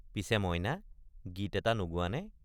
পিছে মইনা গীত এটা নোগোৱানে?